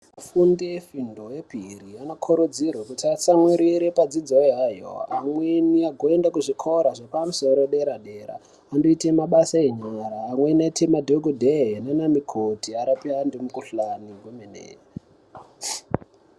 Afundi efundo yepiri anokurudzirwe kuti atsamwitire padzidzo yayo ameeni agoenda kuzvikora zvepamusoro edera dera anoite mabasa enyara amweni aite madhokodhee nana mukoti arape antu mukhuhlani kwemene.